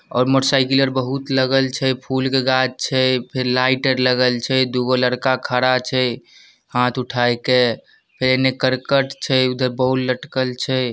और मोटरसाइकल बहुत लगल छै फूल के गाछ छै फेर लाइट आर लगल छै दूगो लड़का खड़ा छै हाथ उठाई के फेर एने करकट छै उधर बोर्ड लटकल छै।